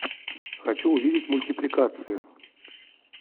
хочу увидеть мультипликацию